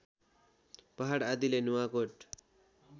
पहाड आदिले नुवाकोट